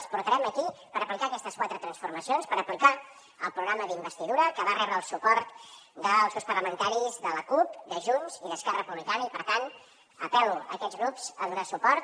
els portarem aquí per aplicar aquestes quatre transformacions per aplicar el programa d’investidura que va rebre el suport dels grups parlamentaris de la cup de junts i d’esquerra republicana i per tant apel·lo aquests grups a donar hi suport